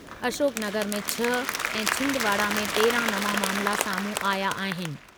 अशोकनगर में छह ऐं छिंदवाड़ा में तेरहं नवां मामिला साम्हूं आहियां आहिनि।